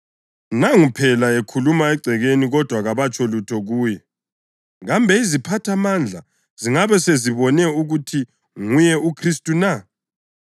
Nangu phela ekhuluma egcekeni kodwa kabatsho lutho kuye. Kambe iziphathamandla zingabe sezibone ukuthi nguye uKhristu na?